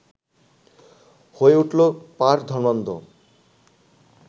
হয়ে উঠলো পাঁড় ধর্মান্ধ